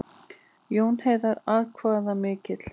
Jón Heiðar atkvæðamikill